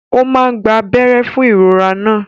Ó máa gba abẹ́rẹ́ fún ìrora náà.